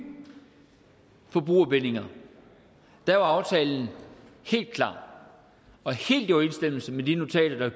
forbrugerbindinger var aftalen helt klar og helt i overensstemmelse med de notater